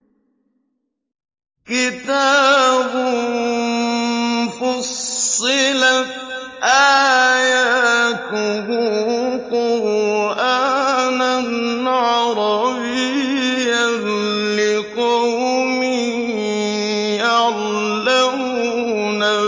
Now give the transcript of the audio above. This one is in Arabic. كِتَابٌ فُصِّلَتْ آيَاتُهُ قُرْآنًا عَرَبِيًّا لِّقَوْمٍ يَعْلَمُونَ